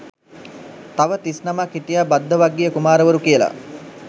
තව තිස්නමක් හිටියා භද්දවග්ගීය කුමාරවරු කියලා